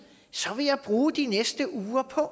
så vil jeg bruge de næste uger på at